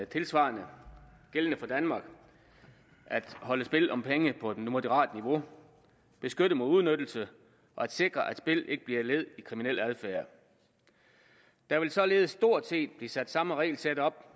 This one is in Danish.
tilsvarende gældende for danmark at holde spil om penge på et moderat niveau beskytte mod udnyttelse og sikre at spil ikke bliver led i kriminel adfærd der vil således stort set blive sat samme regelsæt op